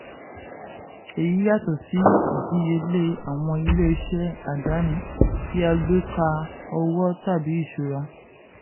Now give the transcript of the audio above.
èyí yàtọ̀ sí ìdíyelé àwọn ilé-iṣẹ́ àdáni tí a gbé ka owó tàbí ìṣúra.